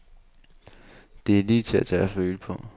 Det er lige til at tage og føle på.